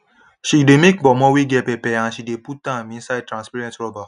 she dey make ponmo wey get pepper and she de put am inside transparent rubber